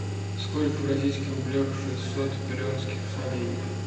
сколько в российских рублях шестьсот перуанских солей